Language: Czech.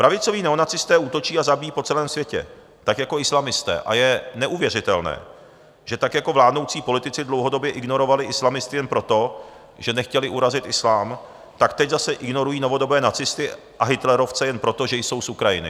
Pravicoví neonacisté útočí a zabíjejí po celém světě, tak jako islamisté, a je neuvěřitelné, že tak jako vládnoucí politici dlouhodobě ignorovali islamisty jen proto, že nechtěli urazit islám, tak teď zase ignorují novodobé nacisty a hitlerovce jen proto, že jsou z Ukrajiny.